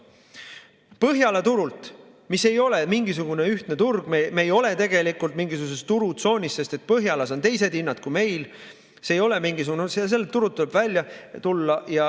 Põhjala turult, mis ei ole mingisugune ühtne turg – me ei ole tegelikult mingisuguses ühes turutsoonis, sest Põhjalas on teised hinnad –, tuleb välja tulla.